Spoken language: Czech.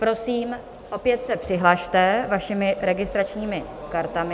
Prosím, opět se přihlaste vašimi registračními kartami.